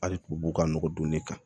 Hali tubabuw ka nɔgɔ don ne kan